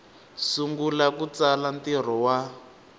sungula ku tsala ntirho wa